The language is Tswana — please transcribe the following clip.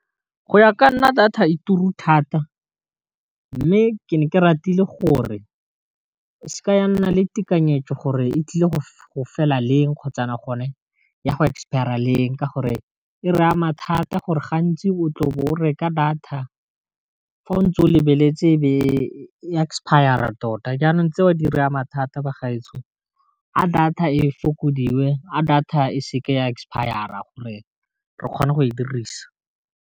Go ya ka nna data e tura thata mme ke ne ke ratile gore se ka ya nna le tekanyetso gore e tlile go fela leng kgotsa gone ya go expire-a leng, ka gore e re ama thata gore gantsi o tle o bo o reka data fa o ntse o lebeletse e be expire tota jaanong tse a di re ama thata ba gaetsho, a data e fokodiwe a data e seke ya expire-a gore re kgone go e dirisa.